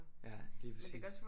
Ja lige præcis